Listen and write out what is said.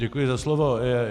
Děkuji za slovo.